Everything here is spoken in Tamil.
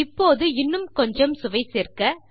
இப்போது இன்னும் கொஞ்சம் சுவை சேர்க்க